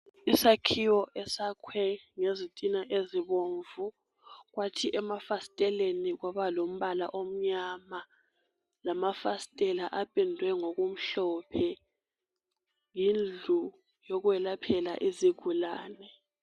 Isakhiwo esakhwe ngezitina ezibomvu kwathi emafasiteleni kwaba lombala omnyama lamafasitela apendwe ngokumhlophe, yindlu yokwelaphela izigulane.